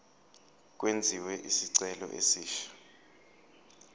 kwenziwe isicelo esisha